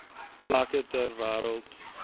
plekke ter wêreld